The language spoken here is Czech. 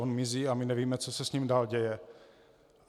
On mizí a my nevíme, co se s ním dál děje.